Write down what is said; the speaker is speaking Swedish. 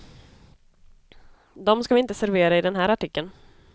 Dom ska vi inte servera i den här artikeln.